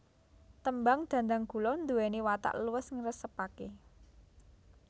Tembang Dhandhanggula nduweni watak luwes ngresepake